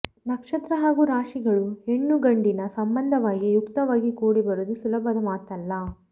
ನಕ್ಷತ್ರ ಹಾಗೂ ರಾಶಿಗಳು ಹೆಣ್ಣೂ ಗಂಡಿನ ಸಂಬಂಧವಾಗಿ ಯುಕ್ತವಾಗಿ ಕೂಡಿ ಬರುವುದು ಸುಲಭದ ಮಾತಲ್ಲ